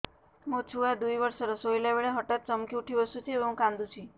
ମୋ ଛୁଆ ଦୁଇ ବର୍ଷର ଶୋଇଲା ବେଳେ ହଠାତ୍ ଚମକି ଉଠି ବସୁଛି ଏବଂ କାଂଦୁଛି